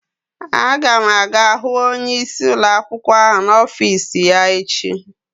Aga m aga hu onyeisi ụlọakwụkwọ ahụ n'ọfis ya echi.